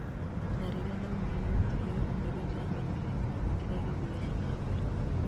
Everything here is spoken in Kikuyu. na rĩrĩa ndaũmire nyũmba ĩyo nĩrio ndamenyire kĩria gĩathiaga na mbere